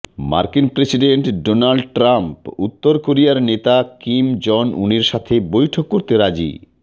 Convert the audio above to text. মার্কিন president Donald Trump উত্তর কোরিয়ার নেতা কিম জন উনের সাথে বৈঠক করতে রাজী